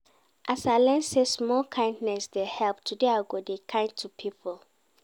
As I learn sey small kindness dey help, today I go dey kind to pipo.